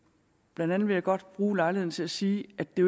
blandt andet vil jeg godt bruge lejligheden til at sige at det